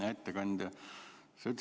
Hea ettekandja!